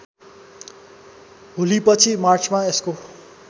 होलीपछि मार्चमा यसको